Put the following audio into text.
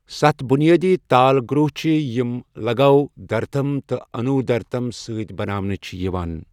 سَتھ بنیٲدی تال گروٚہ چھِ یِم لغو، دھرتم تہٕ انودرتم سۭتۍ بناونہٕ چھِ یِوان